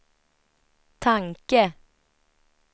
tanke